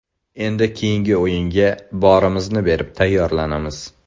Endi keyingi o‘yinga borimizni berib tayyorlanamiz.